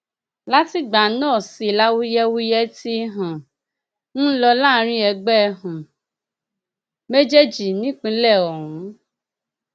látìgbà náà sì làwuyewuye tí um ń lọ láàrin ẹgbẹ um méjèèjì nípínlẹ ọhún